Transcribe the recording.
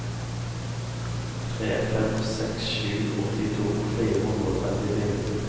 tre fem seks sju åttito fire hundre og trettifire